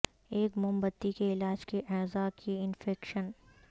ایک موم بتی کے علاج کے اعضاء کی انفیکشن